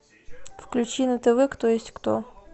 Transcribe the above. включи на тв кто есть кто